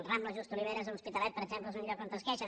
rambla just oliveres a l’hospitalet per exemple és un lloc on es queixen